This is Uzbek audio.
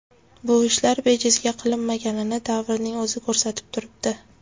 Bu ishlar bejizga qilinmaganini davrning o‘zi ko‘rsatib turibdi.